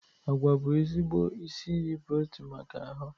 Agwa bụ ezigbo isi iyi protin maka ahụ.